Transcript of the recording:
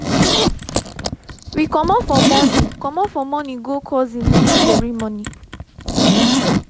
we commot for morning commot for morning go cousin naming ceremony